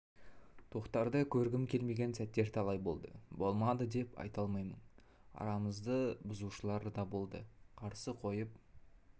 тоқтарды көргім келмеген сәттер талай болды болмады деп айта алмаймын арамызда бұзушылар да болды қарсы қойып